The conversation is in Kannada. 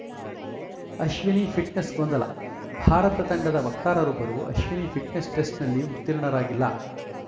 ಅಶ್ವಿನಿ ಫಿಟ್ನೆಸ್‌ ಗೊಂದಲ ಭಾರತ ತಂಡದ ವಕ್ತಾರರೊಬ್ಬರು ಅಶ್ವಿನಿ ಫಿಟ್ನೆಸ್‌ ಟೆಸ್ಟ್‌ನಲ್ಲಿ ಉತ್ತೀರ್‍ಣರಾಗಿಲ್ಲ